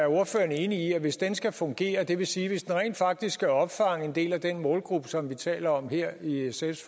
ordføreren enig i at hvis den skal fungere det vil sige hvis den rent faktisk skal opfange en del af den målgruppe som vi taler om her i sfs